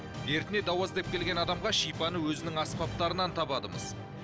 дертіне дауа іздеп келген адамға шипаны өзінің аспаптарынан табады мыс